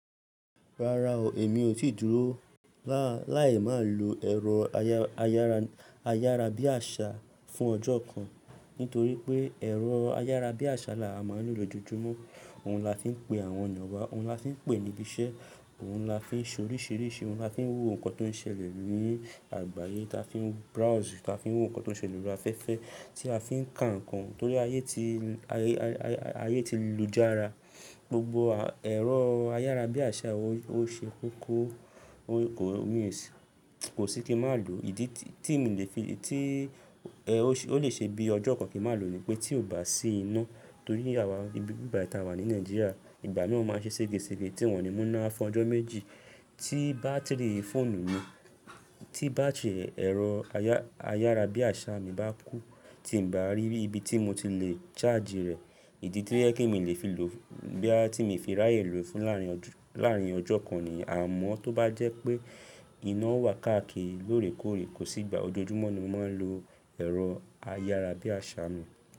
Rárá o, èmi ò tí dúró láì má lo ẹ̀rọ ayárabíàṣá fún ọjọ́ kan, nítorí pé ẹ̀rọ ayárabíàṣá là á máa ń lò lójojúmọ́. Òun la fi ń pe àwọn yan wa, òun la fi ń pè níbi iṣẹ́, òun la fi ṣe oríṣìíríṣìí, òun la fi ń wo nǹkan tó ń ṣẹlẹ̀ ní i àgbáyé, ta fi ń browse, ta fi ń wo nǹkan tó ń ṣẹlẹ̀ lórí afẹ́fẹ́ tí a fi ń ka nǹkan torí, aye ti l--, aye, ay ayé ti lójá ara. Gbogbo a ẹ̀rọ ayárabíàṣá ò o ṣe kókó, o kò, mi sí-- ko si ki n máa lo. Ìdí tí, ti mí le fi le, tí e, o si-- o lè ṣe bí ọjọ́ kan kí n máa lo nì pé tí ò bá sí iná, torí àwa ibibi báyìí tí a wà ní Nigeria, ìgbà náà ó máa ń ṣe sége sége, tí wọ́n ni mú iná fún ọjọ́ méjì, tí bátìrì fóònù mi, tí battery e ẹ̀rọ aya, ayárabíàṣá mi bá kú, tí n bá rí ibi tí mo ti le charge rẹ̀, ìdí tí yẹ kí mi lẹ́ fi lò fu--, bóyá ti mi fi ráyè lò fún láàrin ọjọ́ láàárín ọjọ́ kan niyen, amọ́ tó bá jẹ́ pé iná wà káàkiri lóòrèkóòrè, kò sí ìgbà, ojoojúmọ́ ni mo máa ń lo ẹ̀rọ ayárabíàṣá mi.